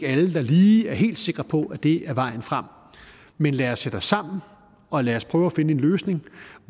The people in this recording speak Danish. alle der lige er helt sikre på at det er vejen frem men lad os sætte os sammen og lad os prøve at finde en løsning